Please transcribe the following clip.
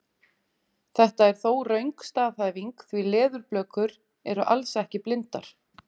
Þetta er þó röng staðhæfing því leðurblökur eru alls ekki blindar!